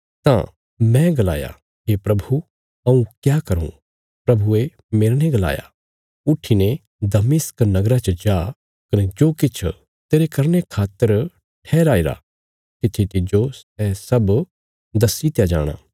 तां मैं गलाया हे प्रभु हऊँ क्या करूँ प्रभुये मेरने गलाया उट्ठीने दमिश्क नगरा च जा कने जो किछ तेरे करने खातर ठहराईरा तित्थी तिज्जो सै सब दस्सीत्या जाणा